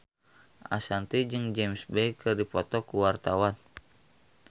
Ashanti jeung James Bay keur dipoto ku wartawan